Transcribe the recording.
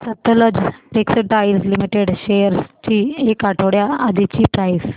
Sutlej textiles limited shares ची एक आठवड्या आधीची प्राइस